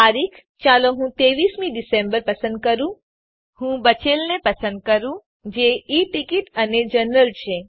તારીખ ચાલો હું ૨૩મી ડીસેમ્બર પસંદ કરું ચાલો હું બચેલને પસંદ કરું જે ઈ ટીકીટ અને જનરલ છે